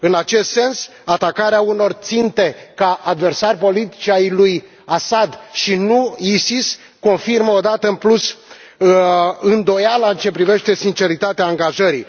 În acest sens, atacarea unor ținte ca adversari politici ai lui al Assad, și nu ISIS, confirmă o dată în plus îndoiala în ce privește sinceritatea angajării.